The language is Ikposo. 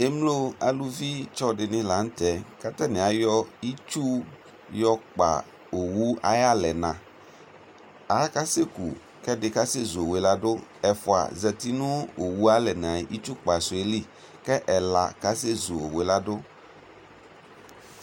ɛmlɔ alʋvi tsɔ dini lantɛ kʋ atani ayɔ itsʋ yɔ kpa ɔwʋ ayi alɛna, akasɛkʋ kʋbɛdi kasɛ zʋbɔwʋɛ ladʋ, ɛƒʋa zati nʋ ɔwʋɛ alɛna itsʋ kpa sʋɛli kʋ ɛla kasɛ zʋ ɔwʋɛ ladʋ